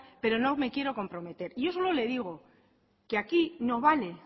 pero no me quiero comprometer yo solo le digo que aquí no vale